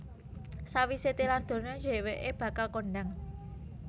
Sawisé tilar donya dhèwèké bakal kondhang